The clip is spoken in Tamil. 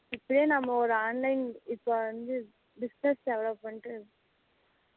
இப்போவே நம்ம ஒரு online இப்போ வந்து business development இருக்கு